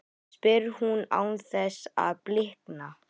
spyr hún án þess að blikna.